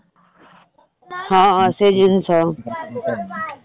ହଁ ହଁ ସେଇ ଜିନିଷ